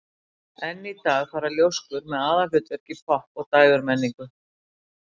Enn í dag fara ljóskur með aðalhlutverk í popp- og dægurmenningu.